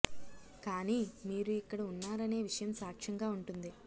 కానీ మీరు ఇక్కడ ఉన్నారనే విషయం సాక్ష్యంగా ఉంటుంది